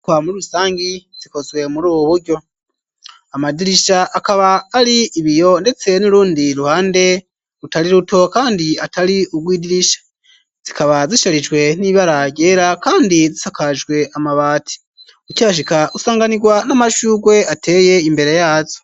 Inyubakwa muri rusangi zikozwe muri bu buryo; amadirisha akaba ari ibiyo ndetse n'urundi ruhande rutari ruto kandi atari ugwidirisha, zikaba zisharijwe n'ibara ryera kandi zisakajwe amabati, ukihashika usanganirwa n'amashugwe ateye imbere yazo.